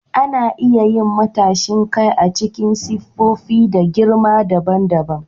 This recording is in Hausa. Ana iya yin matashin kai a cikin siffofi da girma daban daban.